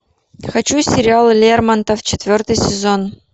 хочу сериал лермонтов четвертый сезон